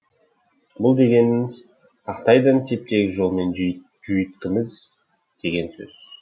бұл дегеніңіз тақтайдай теп тегіс жолмен жүйіткиміз деген сөз